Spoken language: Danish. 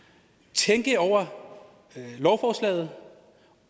tænke over lovforslaget